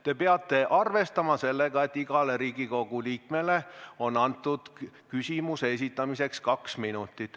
Te peate arvestama sellega, et igale Riigikogu liikmele on antud küsimuse esitamiseks kaks minutit.